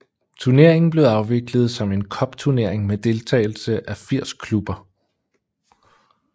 Turneringen blev afviklet som en cupturnering med deltagelse af 80 klubber